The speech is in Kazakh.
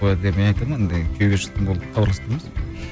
мен айтамын ондай күйеуге шықтың болды хабарласып